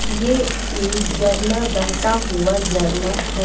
यह एक जरना बहता हुआ जरना है।